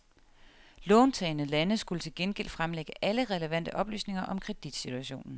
Låntagende lande skulle til gengæld fremlægge alle relevante oplysninger om kreditsituationen.